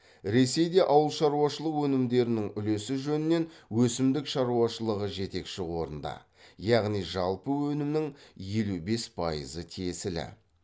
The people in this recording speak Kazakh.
ресейде ауылшаруашылық өнімдерінің үлесі жөнінен өсімдік шаруашылығы жетекші орында яғни жалпы өнімнің елу бес пайызы тиесілі